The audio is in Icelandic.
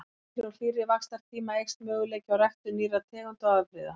Með lengri og hlýrri vaxtartíma eykst möguleiki á ræktun nýrra tegunda og afbrigða.